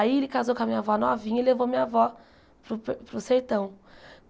Aí ele casou com a minha avó novinha e levou minha avó para o para o sertão.